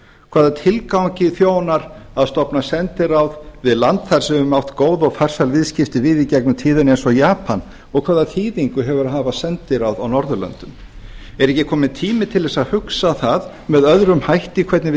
hvaða tilgangi þjónar að stofna sendiráð við land þar sem við höfum átt góð á farsæl viðskipti við í gegnum tíðina eins og japan og hvaða þýðingu hefur að hafa sendiráð á norðurlöndum er ekki kominn tími til þess að hugsa það með öðrum hætti hvernig við